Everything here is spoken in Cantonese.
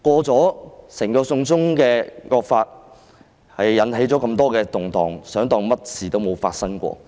整項"送中惡法"引起了那麼多動盪，還想假裝甚麼事也沒有發生過？